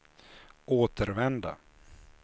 återvända